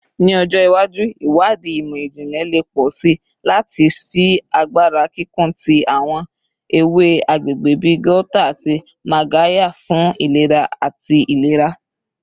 Ni ọjọ iwaju, iwadii imọ-jinlẹ le pọ si lati ṣii agbara kikun ti awọn ewe agbegbe bi gauta ati magarya fun ilera ati ilera